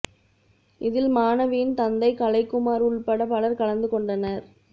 இதில் மாணவியின் தந்தை கலைக்குமார் உள்பட பலர் கலந்து கொண்டனர்